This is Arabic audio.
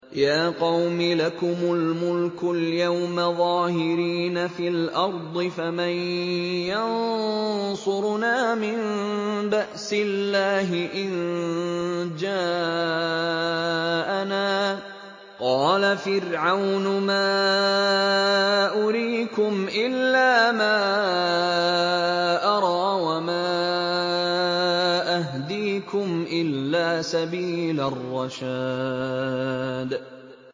يَا قَوْمِ لَكُمُ الْمُلْكُ الْيَوْمَ ظَاهِرِينَ فِي الْأَرْضِ فَمَن يَنصُرُنَا مِن بَأْسِ اللَّهِ إِن جَاءَنَا ۚ قَالَ فِرْعَوْنُ مَا أُرِيكُمْ إِلَّا مَا أَرَىٰ وَمَا أَهْدِيكُمْ إِلَّا سَبِيلَ الرَّشَادِ